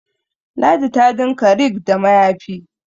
ladi ta dinka rig da mayafi